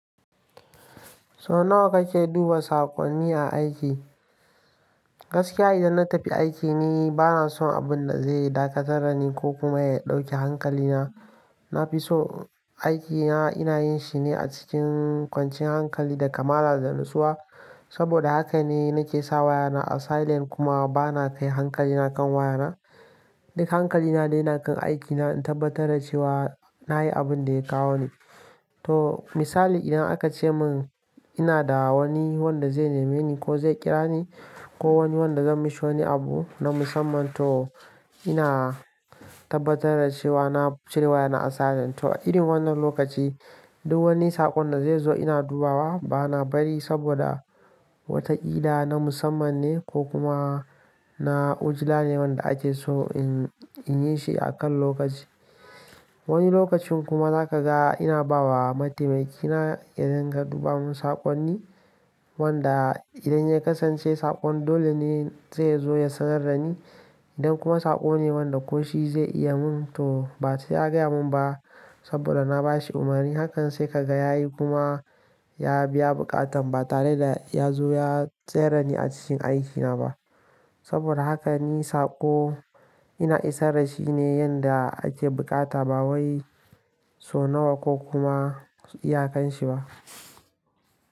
So nawa kake duba saƙonni a aiki? Gaskiya idan na tafi aiki ni bana son abun da zai dakatar da ni ko kuma ya ɗauki hankalina. Na fi so aikina ina yin shi ne a cikin kwanciyan hankali da kamala da natsuwa. Saboda haka ne nake sa wayana a silent kuma bana kai hankalina kan wayana. Duka hankalina na yi na kan aikina, in tabbatar da cewa na yi abin da ya kawo ni. To misali idan aka ce mun ina da wani wanda zai nemi ni ko zai kira ni ko wani wanda zan mishi wani abu na musamman to ina tabbatar da cewa na cire wayana a silent. To irin wannan lokaci duk wani saƙon da zai zo ina dubawa bana bari saboda wataƙila na musamman ne ko kuma na ujila ne wanda ake so in yi shi a kan lokaci. Wani lokacin kuma za ka ga ina ba wa mataimaki na ya daina duba mun saƙonni wanda idan ya kasance saƙon dole ne zai zo ya sanar da ni. Idan kuma saƙo ne wanda ko shi zai iya mun to ba sai ya gaya mun ba saboda na ba shi umarni. Hakan sai ka ga ya yi kuma ya biya buƙatan ba tare da ya zo ya tsere ni a cikin aikina ba. Saboda haka ni saƙo ina isar da shi ne yanda ake buƙata ba wai so nawa ko kuma iyakan shi ba.